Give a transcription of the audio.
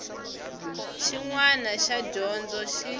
xin wana xa dyondzo xi